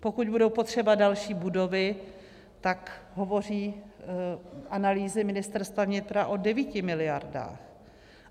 Pokud budou potřeba další budovy, tak hovoří analýzy Ministerstva vnitra o 9 miliardách.